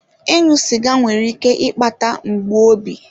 Ịṅụ sịga nwere ike ịkpata mgbu obi.